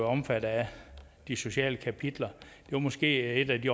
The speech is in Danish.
omfattet af de sociale kapitler det er måske et af de